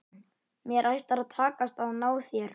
Mér ætlar að takast að ná þér.